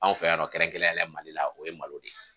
Anw fɛ yan nɔ kɛrɛnkɛrɛnnenya la Mali la o ye malo de ye.